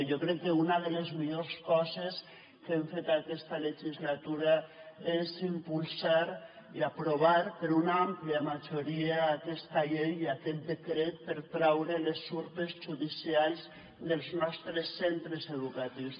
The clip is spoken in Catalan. jo crec que una de les millors coses que hem fet aquesta legislatura és impulsar i aprovar per una àmplia majoria aquesta llei i aquest decret per traure les urpes judicials dels nostres centres educatius